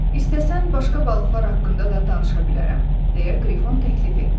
İstəsən başqa balıqlar haqqında da danışa bilərəm, deyə Qrifon təklif etdi.